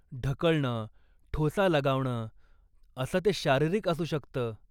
ढकलणं, ठोसा लगावणं असं ते शारीरिक असू शकतं.